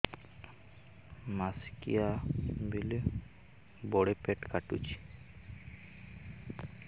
ମାସିକିଆ ବେଳେ ବଡେ ପେଟ କାଟୁଚି